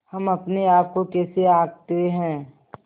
हम अपने आप को कैसे आँकते हैं